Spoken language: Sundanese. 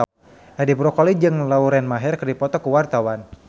Edi Brokoli jeung Lauren Maher keur dipoto ku wartawan